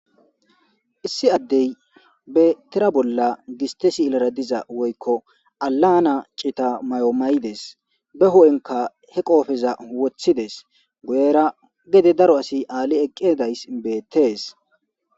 Issi addee bettira bolla giste siilera diza woykko alana cita mayo mayides. Beho'enkka he qoofeza wotti dees guyera gede daro asi aali eqqedays beettees.